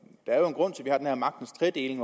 en